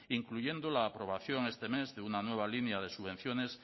incluyendo la aprobación este mes de una nueva línea de subvenciones